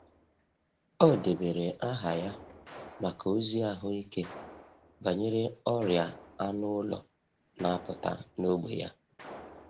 Ọ debere aha ya maka ozi ahụike banyere ọrịa anụ ụlọ na-apụta n’ógbè ya.